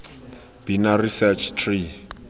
binary search tree